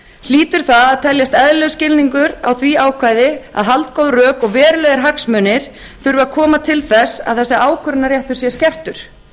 hlýtur það að teljast eðlilegur skilningur á því ákvæði að haldgóð rök og verulegir hagsmunir þurfi að koma til þess að þessi ákvörðunarréttur sé skertur